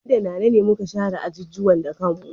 Ni da Nana ne muka share ajujuwa da kanmu.